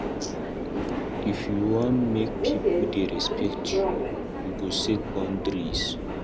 If you wan make pipo dey respect you, you go set boundaries.